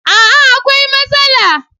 A'a! akwai matsala.